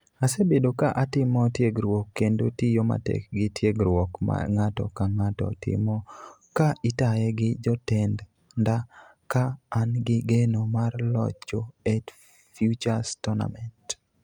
"Asebedo ka atimo tiegruok kendo tiyo matek gi tiegruok ma ng'ato ka ng'ato timo ka itaye gi jotenda ka an gi geno mar locho e Futures Tournament.